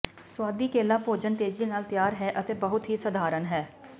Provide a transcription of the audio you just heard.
ਸੁਆਦੀ ਕੇਲਾ ਭੋਜਨ ਤੇਜ਼ੀ ਨਾਲ ਤਿਆਰ ਹੈ ਅਤੇ ਬਹੁਤ ਹੀ ਸਧਾਰਨ ਹੈ